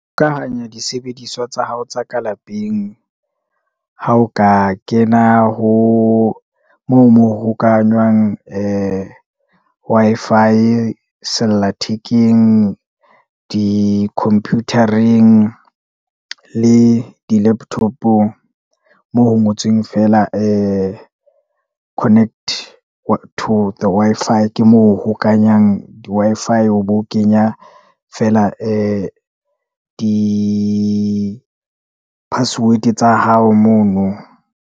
Disebediswa tsa hao tsa ka lapeng, ha o ka kena ho moo, mo hokahanyang ee Wi-Fi, sellathekeng, di-computer-eng, le di-laptop-ong, moo ho ngotsweng feela ee connect to the Wi-Fi, ke moo o hokanyang di-Wi-Fi o be o kenya feela ee di-password tsa hao mono.